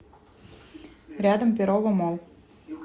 рядом перово молл